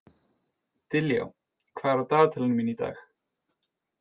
Diljá, hvað er á dagatalinu mínu í dag?